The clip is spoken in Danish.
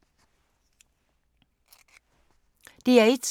DR1